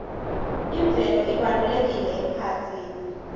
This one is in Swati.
imvelo ibalulekile emphakatsini